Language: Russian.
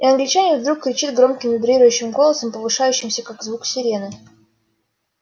и англичанин вдруг кричит громким вибрирующим голосом повышающимся как звук сирены